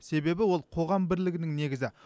себебі ол қоғам бірлігінің негізі